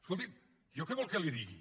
escolti jo què vol que li digui